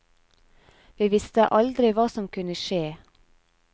Vi visste aldri hva som kunne skje.